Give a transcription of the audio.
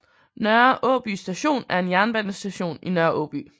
Nørre Åby Station er en jernbanestation i Nørre Aaby